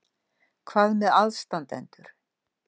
Hvað með aðstandendur?